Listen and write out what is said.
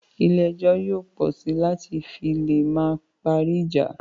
Ilé ẹjọ́ yóò pọ sí láti fi lè máa parí ìjà